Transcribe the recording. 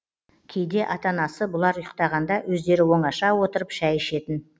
кейде ата анасы бұлар ұйықтағанда өздері оңаша отырып шәй ішетін